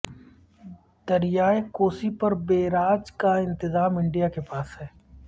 دریائے کوسی پر بیراج کا انتظام انڈیا کے پاس ہے